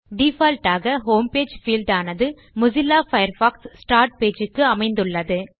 default ஆக home page field ஆனது Mozilla Firefox start page க்கு அமைந்துள்ளது